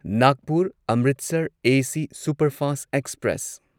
Nagpur Amritsar AC superfast express